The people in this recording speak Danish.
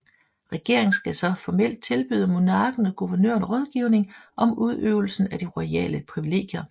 Regeringen skal så formelt tilbyde monarken og guvernøren rådgivning om udøvelsen af de royale priviliegier